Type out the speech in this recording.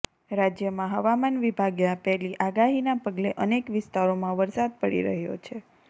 રાજ્યમાં હવામાન વિભાગે આપેલી આગાહીના પગલે અનેક વિસ્તારોમાં વરસાદ પડી રહ્યો છે